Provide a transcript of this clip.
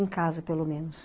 Em casa, pelo menos.